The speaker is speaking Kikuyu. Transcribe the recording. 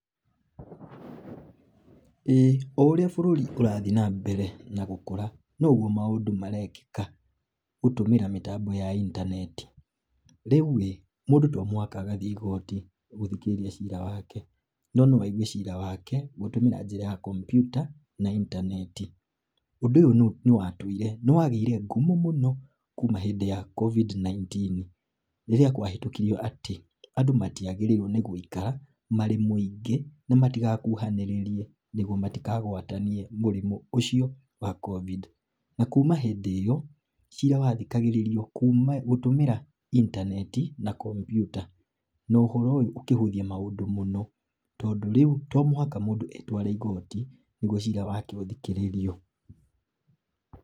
Ĩĩ oũrĩa bũrũri ũrathi na mbere na gũkũra, noguo maũndũ marekĩka gũtũmĩra mĩtambo ya intaneti, rĩũ ĩ mũndũ tomũhaka agathiĩ igoti, gũthii gũthikĩrĩria cira wake no naoigue cira wake gũtũmĩra njĩra ya komputa na intaneti, ũndũ ũyũ nĩwagĩire ngumo mũno kuuma hĩndĩ ya covid 19,rĩrĩa kwahĩtũkirwo atĩ andũ matiagĩrĩirwo gũikara marĩ mũingĩ matigakuhanĩrĩrie nĩguo matikagwatanie mũrimũ ũcio wa covid, na kuuma ĩndĩ ĩyo cira wathikagĩrĩrio gũtũmĩra intaneti na komputa na ũhoro ũyũ ũkĩhũthia maũndũ mũndũ tondũ rĩũ to mũhaka mũndũ etware igoti nĩguo cira wake ũthikĩrĩrio.